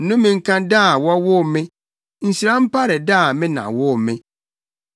Nnome nka da a wɔwoo me! Nhyira mpare da a me na woo me.